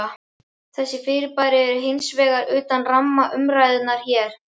Þessi fyrirbæri eru hins vegar utan ramma umræðunnar hér.